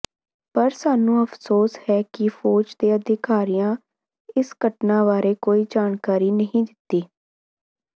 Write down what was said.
ਪਰ ਸਾਨੂੰ ਅਫਸੋਸ ਹੈ ਕਿ ਫੌਜ ਦੇ ਅਧਿਕਾਰੀਆਂ ਇਸ ਘਟਨਾ ਬਾਰੇ ਕੋਈ ਜਾਣਕਾਰੀ ਨਹੀਂ ਦਿੱਤੀ